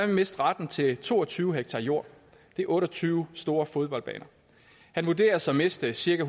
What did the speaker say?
miste retten til to og tyve ha jord det er otte og tyve store fodboldbaner han vurderes at miste cirka